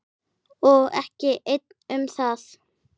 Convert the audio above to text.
Og ekki einn um það.